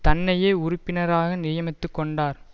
தன்னையே உறுப்பினராக நியமித்துக் கொண்டார்